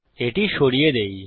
এটি সরিয়ে দেই